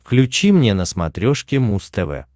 включи мне на смотрешке муз тв